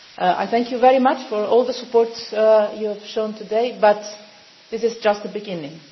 one. I thank you very much for all the support you have shown today, but this is just the beginning.